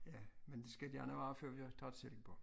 Ja men det skal gerne være før vi har taget silkeborg